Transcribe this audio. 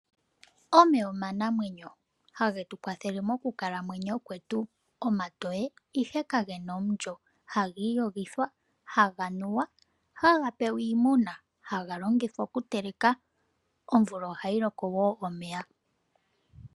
Omeya omanamwenyo hage tu kwathele mokukalamwenyo kwetu omatoye ashike kage na omulyo ha giiyogithwa, haga nuwa, haga pewa iimuna no haga longithwa okuteleka. Omvula ohayi loko wo omeya.